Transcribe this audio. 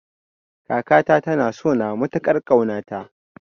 Kakata ta na sona matukar kauna ta